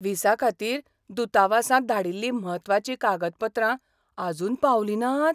व्हिसाखातीर दुतावासांत धाडिल्लीं म्हत्वाचीं कागदपत्रां आजून पावलीं नात?